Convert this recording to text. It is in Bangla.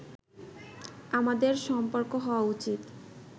আমাদের সম্পর্ক হওয়া উচিত